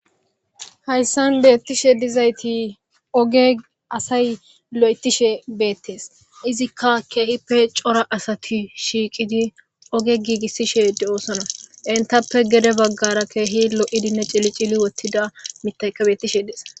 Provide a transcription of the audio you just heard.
hayssan beettishe dizayti oge asay lo'etishe beettees izikka keehippe cora asati shiiqidi oge giigissishe de'oosona entappe gede baggara keehi lo'idinne cilicili wottida mitayka bettishe dees